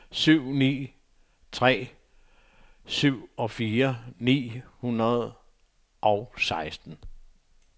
syv ni ni tre syvogfyrre ni hundrede og seksten